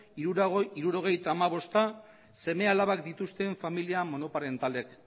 hirurogeita hamabosta seme alabak dituzten familia monoparentalak